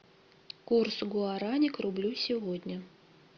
курс гуарани к рублю сегодня